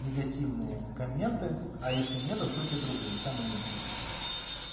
негативные комменты а если нет откройте другую там и они будут